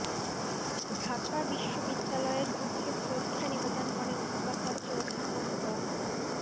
ঢাকা বিশ্ববিদ্যালয়ের পক্ষে শ্রদ্ধা নিবেদন করেন উপাচার্য অধ্যাপক ড